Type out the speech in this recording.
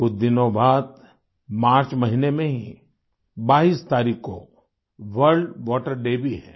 कुछ दिनों बाद मार्च महीने में ही 22 तारीख को वर्ल्ड वाटर डे भी है